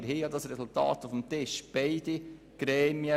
Das Resultat liegt schliesslich auf dem Tisch.